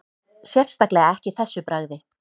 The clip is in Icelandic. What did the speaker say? Sérstaklega ekki þessu bragði